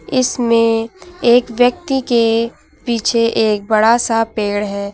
इसमें एक व्यक्ति के पीछे एक बड़ा सा पेड़ है।